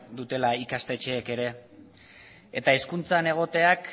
dutela ikastetxeek ere eta hezkuntzan egoteak